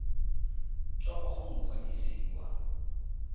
tswa kwa go mokwadise wa